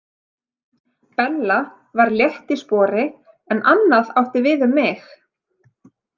Bella var létt í spori en annað átti við um mig.